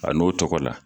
A n'o tɔgɔ la